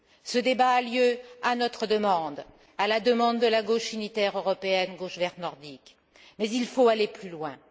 Ce débat a lieu à notre demande, à la demande de la Gauche unitaire européenne Gauche verte nordique, mais il faut aller plus loin.